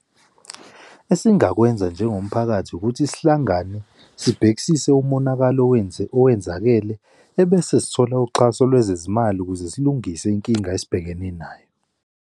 Esingakwenza njengomphakathi ukuthi sihlangane sibhekisise umonakalo owenzakele, ebese sithola uxhaso lwezezimali ukuze silungise inkinga esibhekene nayo.